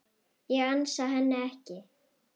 Ég ansa henni ekki.